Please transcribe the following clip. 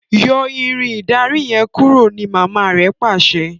Yọ Irin ìdarí yen kúrò! ní mama rẹ pàṣẹ.